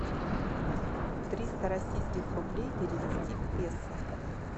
триста российских рублей перевести в песо